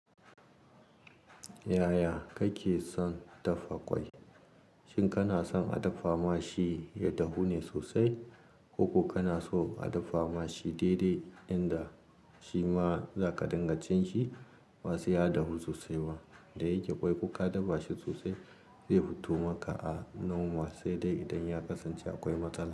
Yaya kake son dafa kwai? Shin kana son a dafa ma shi ya dahu ne sosai ko ko kana so a dafa ma shi dai-dai inda shi ma zaka dinga cin shi ba sai ya dahu sosai ba? Da yake kwai kuka dafa shi sosai zai fito maka a normal sai dai idan ya kasance akwai matsala.